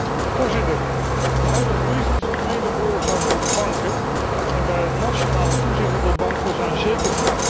De huidige crisis is mede veroorzaakt door de banken en bij het nationale toezicht op de banken zijn zeker vraagtekens te plaatsen.